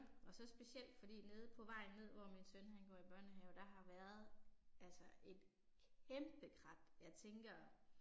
Og så specielt fordi nede på vejen ned hvor min søn han går i børnehave, der har været altså et kæmpe krat. Jeg tænker